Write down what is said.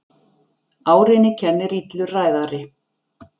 Árinni kennir illur ræðari.